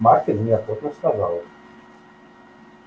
маркин неохотно сказал